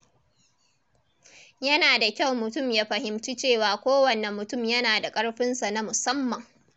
Yana da kyau mutum ya fahimci cewa kowanne mutum yana da ƙarfinsa na musamman.